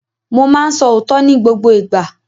Mo máa ń sọ òótọ́ ní gbogbo ìgbà.